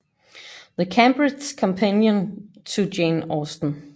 The Cambridge Companion to Jane Austen